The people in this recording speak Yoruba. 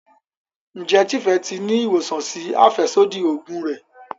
Njé Tife tí rí ìwòsàn sí afẹsodi oògùn rẹ.